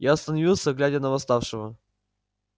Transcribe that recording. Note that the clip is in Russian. я остановился глядя на восставшего